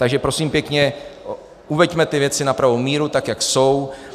Takže prosím pěkně, uveďme ty věci na pravou míru, tak jak jsou.